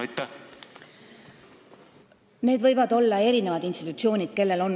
Need, kellel on vaja maad omandada, võivad olla erinevad institutsioonid.